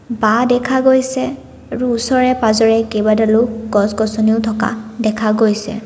বাঁহ দেখা গৈছে আৰু ওচৰে পাজৰে কেইবাডালো গছ-গছনি ও থকা দেখা গৈছে।